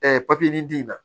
papiye nin diyan